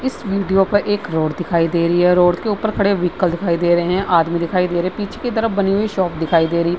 इस वीडियो पर एक रोड दिखाई दे रही है। रोड के ऊपर खड़े दिखाई दे रहें हैं आदमी दिखाई दे रहें हैं। पीछे की तरफ बनी हुई शॉप दिखाई दे रही है।